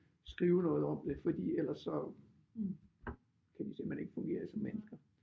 Skrive noget om det fordi ellers så kunne de simpelthen ikke fungere som mennesker